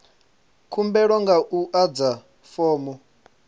khumbelo nga u adza fomo